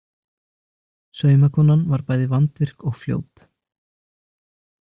Saumakonan var bæði vandvirk og fljót.